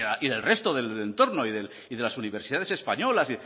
y del resto del entorno y de las universidades españolas